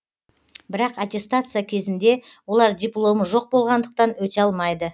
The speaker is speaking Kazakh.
бірақ аттестация кезінде олар дипломы жоқ болғандықтан өте алмайды